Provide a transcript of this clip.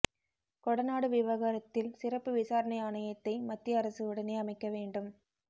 கொடநாடு விவகாரத்தில் சிறப்பு விசாரணை ஆணையத்தை மத்திய அரசு உடனே அமைக்க வேண்டும்